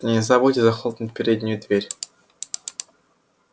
да не забудьте захлопнуть переднюю дверь